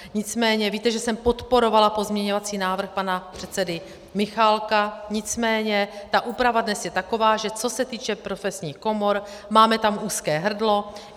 Nicméně víte, že jsem podporovala pozměňovací návrh pana předsedy Michálka, nicméně ta úprava dnes je taková, že co se týče profesních komor, máme tam úzké hrdlo.